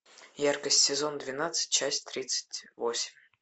яркость сезон двенадцать часть тридцать восемь